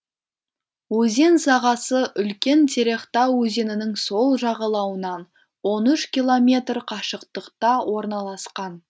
өзен сағасы үлкен терехта өзенінің сол жағалауынан он үш километр қашықтықта орналасқан